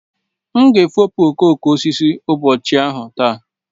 M ga-efopụ okooko osisi ụbọchị ahụ taa.